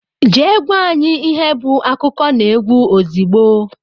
Jee gwa anyị ihe bụ akụkọnaegwu ozigbo!!!!